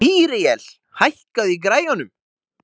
Míríel, hækkaðu í græjunum.